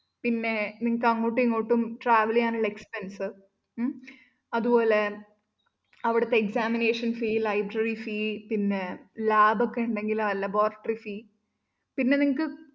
പിന്നെ നിങ്ങള്‍ക്ക് അങ്ങോട്ടുമിങ്ങോട്ടും travel ചെയ്യാനുള്ള expense ഉം അതുപോലെ അവിടുത്തെ examination fee library fee പിന്നെ lab ഒക്കെ ഉണ്ടെങ്കില്‍ laboratory fee പിന്നെ നിങ്ങള്‍ക്ക്